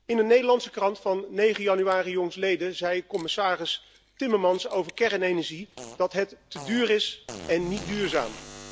In een Nederlandse krant van 9 januari jongstleden zei commissaris Timmermans over kernenergie dat het te duur is en niet duurzaam.